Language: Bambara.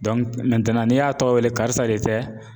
n'i y'a tɔgɔ wele karisa de tɛ?